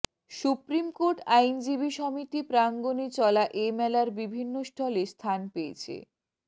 supreme court আইনজীবী সমিতি প্রাঙ্গনে চলা এ মেলার বিভিন্ন স্টলে স্থান পেয়েছে